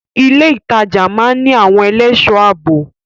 Ilé ìtajà máa ń ní àwọn ẹlẹ́ṣọ̀ ààbò.